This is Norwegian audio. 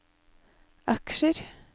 aksjer